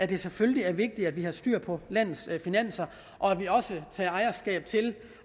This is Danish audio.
det selvfølgelig er vigtigt at vi har styr på landets finanser og at vi også tager ejerskab til